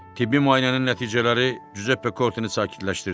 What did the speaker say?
Tibbi müayinənin nəticələri Cüzep Pekortini sakitləşdirdi.